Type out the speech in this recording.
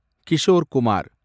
Kishore Kumar